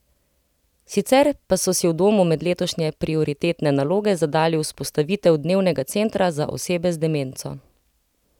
Sicer pa so si v domu med letošnje prioritetne naloge zadali vzpostavitev dnevnega centra za osebe z demenco.